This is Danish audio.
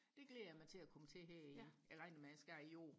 det glæder jeg mig til og komme til her i jeg regner med jeg skal i år